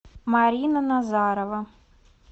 марина назарова